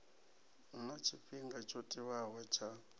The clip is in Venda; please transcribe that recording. huna tshifhinga tsho tiwaho tsha